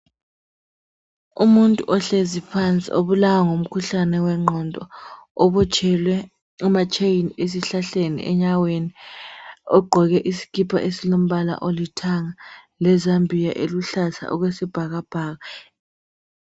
Umuntu ohlezi phansi obulawaya ngumkhuhlane wengqondo, ubotshwele ama chain esihlahleni, enyaweni. Ugqoke isikipa esilombala olithanga lezambiya eluhlaza okwesibhakabhaka.